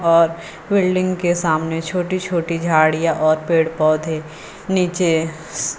और बिल्डिंग के सामने छोटी छोटी झाड़ियां और पेड़ पौधे नीचे--